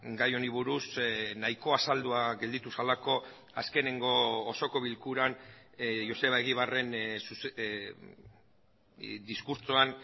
gai honi buruz nahiko azaldua gelditu zelako azkeneko osoko bilkuran joseba egibarren diskurtsoan